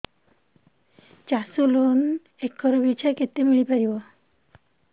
ଚାଷ loan acre ପିଛା କେତେ ମିଳି ପାରିବ